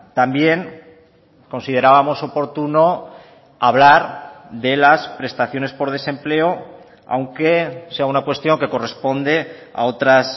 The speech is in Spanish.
también considerábamos oportuno hablar de las prestaciones por desempleo aunque sea una cuestión que corresponde a otras